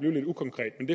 blive lidt ukonkret men det